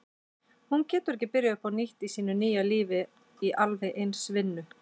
Hún getur ekki byrjað upp á nýtt í sínu nýja lífi í alveg eins vinnu.